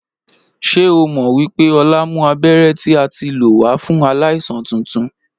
Ṣé o mọ wípé Ọlá mú abéré tí a tí lò wà fún aláìsàn tuntun